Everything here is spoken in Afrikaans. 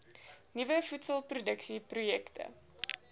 nuwe voedselproduksie projekte